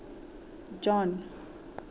john